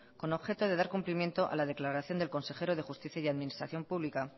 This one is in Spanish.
con objeto de dar cumplimiento a la declaración del consejero de justicia y administración pública